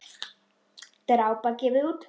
Drápa gefur út.